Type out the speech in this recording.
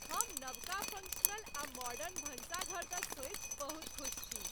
हम नबका फंक्शनल आ मॉडर्न भनसाघर दऽ सोचि बहुत खुस छी।